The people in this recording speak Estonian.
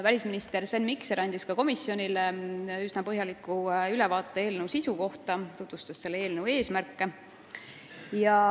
Välisminister Sven Mikser andis ka komisjonile üsna põhjaliku ülevaate eelnõu sisust, tutvustades selle eesmärke.